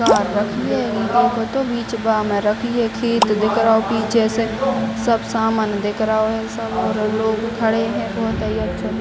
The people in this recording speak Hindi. कार रखी है | निचे पे तो बिच गा में रखी है | खेत दिख रहो हैं | पीछे से सब सामान दिख रहो है | सब लोग खड़े हैं | बहुत ही अच्छे --